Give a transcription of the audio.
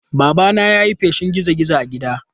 Babana ya yi feshin gizo-gizo a gidan.